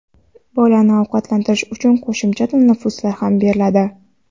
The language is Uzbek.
bolani ovqatlantirish uchun qo‘shimcha tanaffuslar ham beriladi.